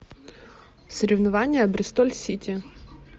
соревнования бристоль сити